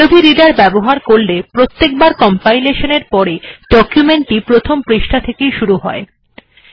আদবে reader ব্যবহার করলে প্রত্যেকবার কম্পায়লেশন এর পরে ডকুমেন্ট টি প্রথম পৃষ্ঠা থেকেই শুরু হয়